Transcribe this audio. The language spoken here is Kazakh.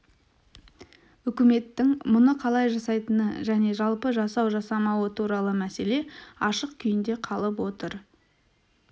үкіметтің мұны қалай жасайтыны және жалпы жасау-жасамауы туралы мәселе ашық күйінде қалып отыр